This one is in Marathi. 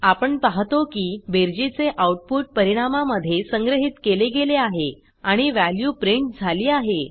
आपण पाहतो की बेरजेचे आउटपुट परिणामा मध्ये संग्रहित केले गेले आहे आणि वॅल्यू प्रिंट झाली आहे